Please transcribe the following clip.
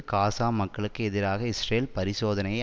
காசா மக்களுக்கு எதிராக இஸ்ரேல் பரிசோதனையை